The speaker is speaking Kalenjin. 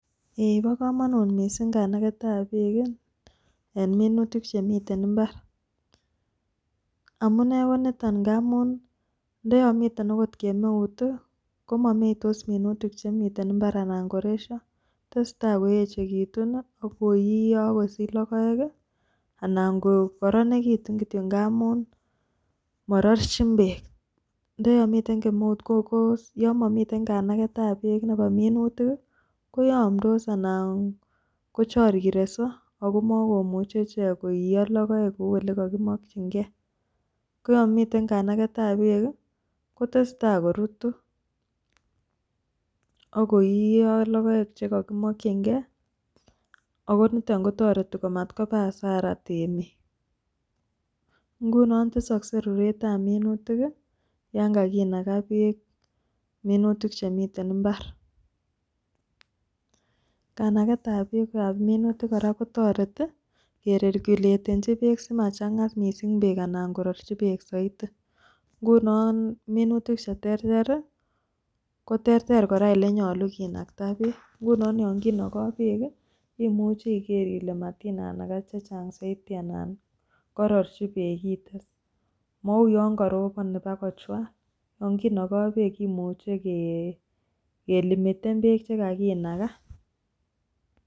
Ee kobo komonut miising kanaget ap peek eng' minutik chemite mbar. amune konitok amu ndeyamitek akot kemeut komameitos minutik chemite mbar anan koresio. testai koechegiitu, akoiiyo akosich logoek anan kokoronitu kityo nga amun marerchin peek. Ndeyamite kemeut ko koyamamite kanaaget ap peek nebo minutik koyamndos anan kocharirenso akomamuch icheekkoiiyo logoek kou ole kakimakchinge. koyamiite kanageet ap peek kotestai korutu akoiiyo logoek chekakimakchinge akonitok kotoreti matkoba hasara . Nguno kotesakse ruret ap minutik ya ngakinaga peek minutik chemite mbar. kanaget ap peek ap minutik kora kooreti kereguletenchi peek simachang'a miising' peek anan korerchi peek zaidi nguno minutik cheterter koterter kora ile nyolu kinagta peek. nguno yakinagai peek imuchi igeer ile matinagai chechang' zaidi anan korerchi peek ites, mouuyo korobon anginagai peek imuchi kelimiten peek chekakinaga